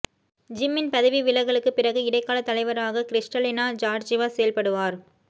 ஜிம்மின் பதவி விலகலுக்குப் பிறகு இடைக்கால தலைவராக க்றிஸ்டலினா ஜார்ஜிவா செயல்படுவார்